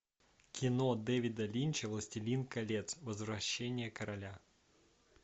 кино дэвида линча властелин колец возвращение короля